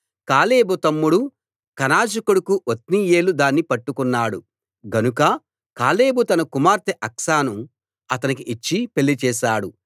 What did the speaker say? కాలేబు తమ్ముడు కనజు కొడుకు ఒత్నీయేలు దాన్ని పట్టుకున్నాడు గనుక కాలేబు తన కుమార్తె అక్సాను అతనికి ఇచ్చి పెళ్లి చేసాడు